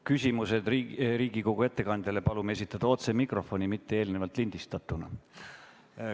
Küsimused ettekandjale palume esitada otse mikrofoni, mitte eelnevalt lindistatuna.